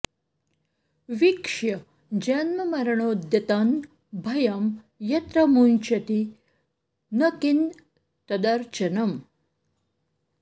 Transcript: वीक्ष्य जन्ममरणोद्यतं भयं यत्र मुञ्चति न किं तदर्चनम्